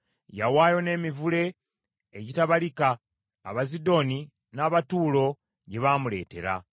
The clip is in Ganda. Yawaayo n’emivule egitabalika, Abazidoni n’Abatuulo gye baamuleetera.